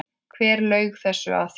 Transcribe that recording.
Hver laug þessu að þér?